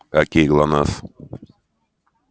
окей глонассс